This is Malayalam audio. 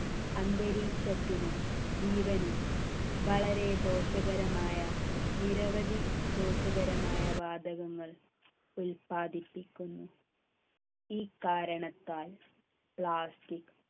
അന്തരീക്ഷത്തിനും ജീവനും വളരെ ദോഷകരമായ നിരവധി ദോഷകരമായ വാതകങ്ങൾ ഉൽപാദിപ്പിക്കുന്നു ഈ കാരണത്താൽ plastic